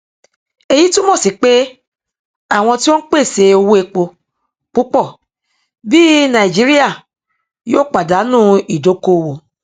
èyí túnmọ sí pé àwọn tí ó n pèsè owó epo púpọ bí nàìjíríà yòó pàdánù ìdókòwò